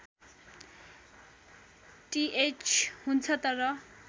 टिएच हुन्छ तर